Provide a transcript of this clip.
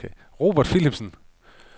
Robert Philipsen